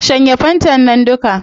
Shanye fantan nan duka